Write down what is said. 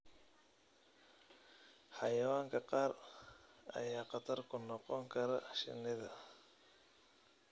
Xayawaanka qaar ayaa khatar ku noqon kara shinida.